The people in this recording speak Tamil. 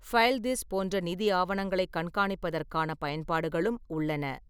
ஃபைல்திஸ் போன்ற நிதி ஆவணங்களைக் கண்காணிப்பதற்கான பயன்பாடுகளும் உள்ளன.